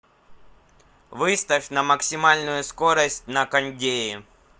выставь на максимальную скорость на кондее